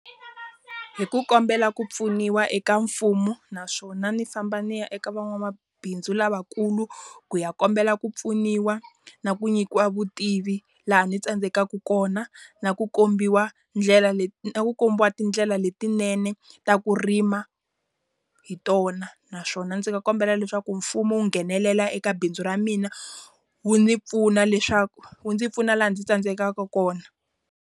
Hi ku kombela ku pfuniwa eka mfumo, naswona ni famba ni ya eka van'wamabindzu lavakulu ku ya kombela ku pfuniwa na ku nyikiwa vutivi laha ndzi tsandzekaka kona. Na ku kombiwa ndlela na ku kombiwa tindlela letinene ta ku rima hi tona. Naswona ndzi nga kombela leswaku mfumo wu nghenelela eka bindzu ra mina, wu ni pfuna leswaku wu ndzi pfuna laha ndzi tsandzekaka kona.